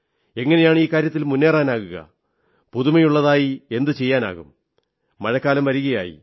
എങ്ങനെയാണ് ഈ കാര്യത്തിൽ മുന്നേറാനാകുക പുതുമയുള്ളതായി എന്തു ചെയ്യാനാകും മഴക്കാലം വരുകയായി